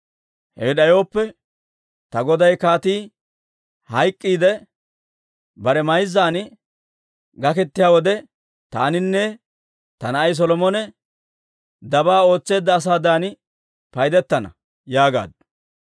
Hewe d'ayooppe, ta goday kaatii hayk'k'iidde bare mayzzan gaketiyaa wode, taaninne ta na'ay Solomone dabaa ootseedda asaadan payddettana» yaagaaddu.